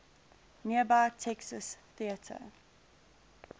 nearby texas theater